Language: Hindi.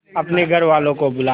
अपने घर वालों को बुला